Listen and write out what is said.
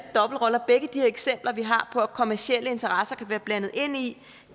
eksempler på at kommercielle interesser kan være blandet ind i